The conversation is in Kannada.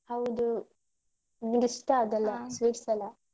ಹೌದು. ನಂಗಿಷ್ಟ sweets ಎಲ್ಲ.